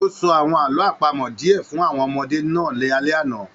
O sọ àwọn àlọ́ àpamọ̀ diẹ fún àwọn ọmọdé náà l'alẹ ana.